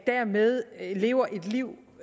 dermed lever et liv